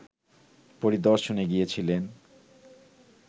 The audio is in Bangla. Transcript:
পরিদর্শনে গিয়েছিলেন